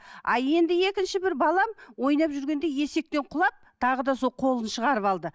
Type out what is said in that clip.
а енді екінші бір балам ойнап жүргенде есектен құлап тағы да сол қолын шығарып алды